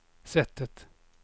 sättet